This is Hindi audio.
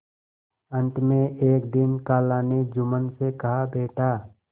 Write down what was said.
अंत में एक दिन खाला ने जुम्मन से कहाबेटा